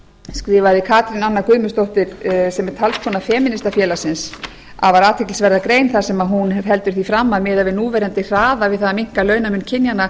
skrifaði katrín anna guðmundsdóttir sem er talskona femínistafélagsins afar athyglisverða grein þar sem hún heldur því fram að miðað við núverandi hraða við það að minnka launamun kynjanna